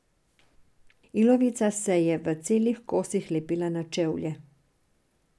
Ilovica se je v celih kosih lepila na čevlje.